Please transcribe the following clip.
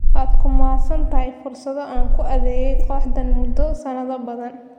Waad ku mahadsan tahay fursadda aan ku adeegay kooxdaan muddo sanado badan.